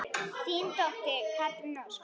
Þín dóttir, Katrín Ósk.